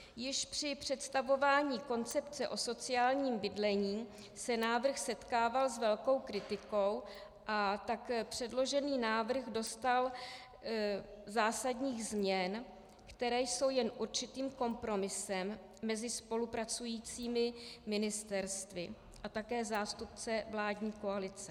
Již při představování koncepce o sociálním bydlení se návrh setkával s velkou kritikou, a tak předložený návrh doznal zásadních změn, které jsou jen určitým kompromisem mezi spolupracujícími ministerstvy a také zástupcem vládní koalice.